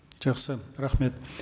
жақсы рахмет